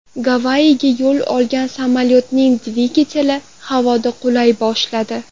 Gavayiga yo‘l olgan samolyotning dvigateli havoda qulay boshladi.